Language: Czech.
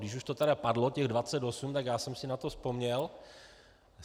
Když už to tedy padlo těch 28, tak já jsem si na to vzpomněl.